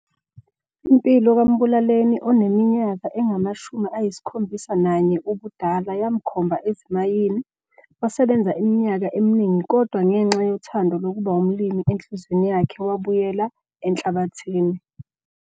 Impilo kaMbulaleni oneminyaka engama-71 ubudala yamkhomba ezimayini wasebenza iminyaka eminingi kodwa ngengxa yothando lokuba umlimi enhliziweni yakhe wabuyela enhlabathini.